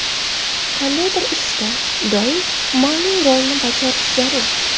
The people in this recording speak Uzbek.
Qandaydir ishda doim ma’lum rolni bajarish zarur.